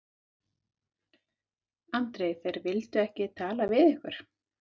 Andri: Þeir vildu ekki tala við ykkur?